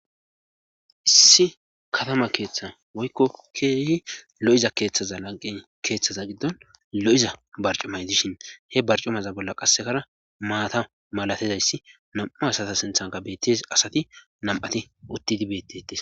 issi katama keeththa woykko keehi lo7iza keeththaza lagqen keeththaza giddon lo7iza barcumay dishin he barcumaza bolla qassekara maata malatizayssi nam7u asata sinthanka bettes asati nam7ati uttidi bettetes